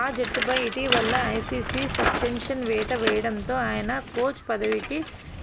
ఆ జట్టుపై ఇటీవల ఐసీసీ సస్పె న్షన్ వేటు వేయడంతో ఆయన కోచ్ పదవికి